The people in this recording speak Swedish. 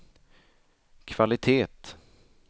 kvalitet